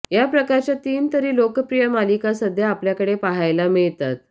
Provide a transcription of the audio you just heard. या प्रकारच्या तीन तरी लोकप्रिय मालिका सध्या आपल्याकडे पाहायला मिळतात